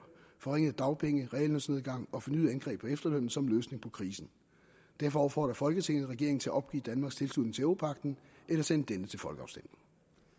forringede dagpenge reallønsnedgang og fornyede angreb på efterlønnen som løsning på krisen derfor opfordrer folketinget regeringen til at opgive danmarks tilslutning til europagten eller sende denne til folkeafstemning